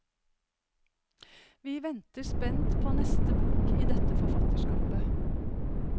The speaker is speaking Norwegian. Vi venter spent på neste bok i dette forfatterskapet.